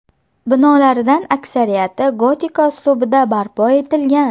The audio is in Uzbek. Binolaridan aksariyati gotika uslubida barpo etilgan.